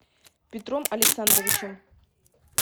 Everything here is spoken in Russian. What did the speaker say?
петром александровичем